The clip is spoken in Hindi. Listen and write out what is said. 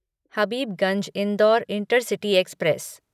Habibganj Indore intercity express